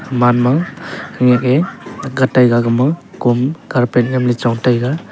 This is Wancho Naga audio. man ma khenyak e akga taiga agama kom carpet nyamley chong tega.